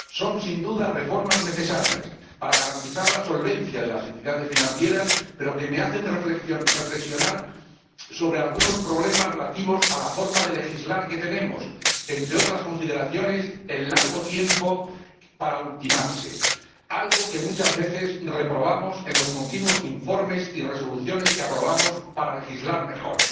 Son, sin duda, reformas necesarias para garantizar la solvencia de las entidades financieras, pero que me hacen reflexionar sobre algunos problemas relativos a la forma de legislar que tenemos, entre otras consideraciones el largo tiempo empleado para ultimar los procedimientos, algo que muchas veces reprobamos en los continuos informes y resoluciones que aprobamos para legislar mejor.